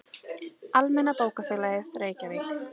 Almenna bókafélagið, Reykjavík.